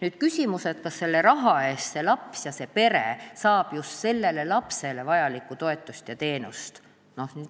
Nüüd on küsimus, kas selle raha eest saab see laps ja see pere sõltuvalt elukohast just sellele lapsele vajalikku toetust ja teenust ning